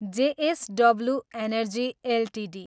JSW energy Ltd